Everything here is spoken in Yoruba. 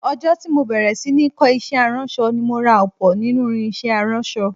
Ọjọ́ tí mo bẹ̀rẹ̀ sí ní kọ́ iṣẹ́ aránṣọ ni mo ra ọ̀pọ̀ nínú irinṣẹ́ aránṣọ